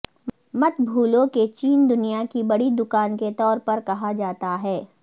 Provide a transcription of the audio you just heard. مت بھولو کہ چین دنیا کی بڑی دکان کے طور پر کہا جاتا ہے